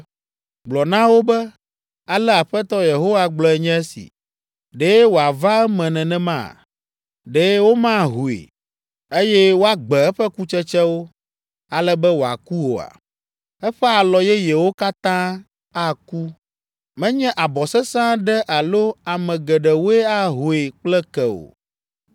“Gblɔ na wo be, Ale Aƒetɔ Yehowa gblɔe nye esi: ‘Ɖe wòava eme nenema? Ɖe womahoe, eye woagbe eƒe kutsetsewo, ale be wòaku oa? Eƒe alɔ yeyewo katã aku. Menye abɔ sesẽ aɖe alo ame geɖewoe ahoe kple ke o.